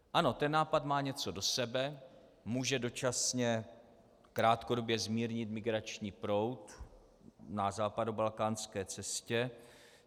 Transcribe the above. Ano, ten nápad má něco do sebe, může dočasně krátkodobě zmírnit migrační proud na západobalkánské cestě.